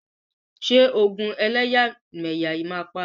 Ṣé ogun ẹlẹ́yàmẹyà yìí máa parí?